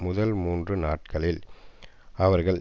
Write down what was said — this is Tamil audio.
முதல் மூன்று நாட்களில் அவர்கள்